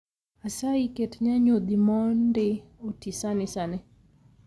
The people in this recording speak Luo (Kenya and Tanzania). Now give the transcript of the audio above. Asayi ket nyanyodhi mondi oti sani sani